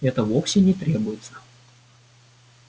это вовсе не требуется